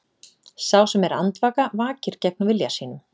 Sá sem er andvaka vakir gegn vilja sínum.